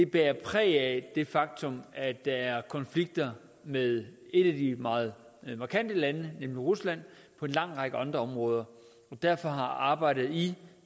bærer præg af det faktum at der er konflikter med et af de meget markante lande nemlig rusland på en lang række andre områder derfor har arbejdet i